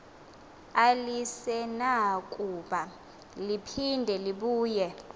alisenakuba liphinde libuye